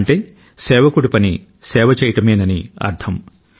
అంటే సేవకుడి పని సేవ చేయడమేనని అర్థం